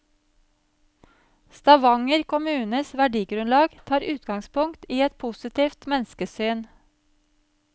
Stavanger kommunes verdigrunnlag tar utgangspunkt i et positivt menneskesyn.